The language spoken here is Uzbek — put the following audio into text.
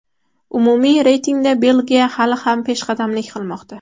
Umumiy reytingda Belgiya hali ham peshqadamlik qilmoqda.